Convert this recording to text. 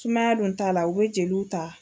Sumaya dun ta la u bɛ jeliw ta.